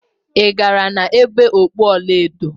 Ị gara na-ebe okpu ọla edo?